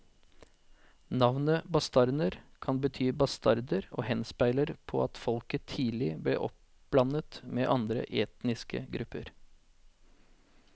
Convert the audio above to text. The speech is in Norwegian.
Navnet bastarner kan bety bastarder og henspeiler på at folket tidlig ble oppblandet med andre etniske grupper.